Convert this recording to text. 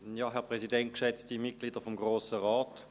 Ich gebe Christoph Auer das Wort.